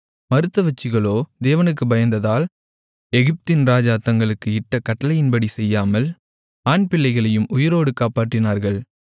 மருத்துவச்சிகளோ தேவனுக்குப் பயந்ததால் எகிப்தின் ராஜா தங்களுக்கு இட்ட கட்டளைப்படி செய்யாமல் ஆண்பிள்ளைகளையும் உயிரோடு காப்பாற்றினார்கள்